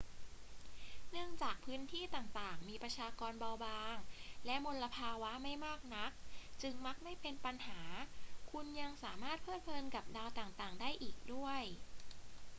เนื่องจากพื้นที่ต่าง ๆ มีประชากรเบาบางและมลภาวะไม่มากนัก จึงมักไม่เป็นปัญหา คุณยังสามารถเพลิดเพลินกับดาวต่าง ๆ ได้อีกด้วย